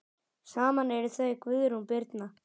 Saman eru þau Guðrún Birna.